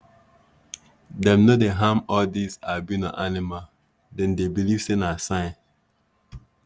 dem no dey harm all this albino animal dem beleive sey na sign